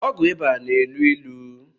ọgwụ ịba na-elu ilu